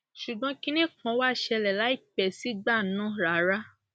ṣùgbọn kinní kan wàá ṣẹlẹ láìpẹ sígbà náà rárá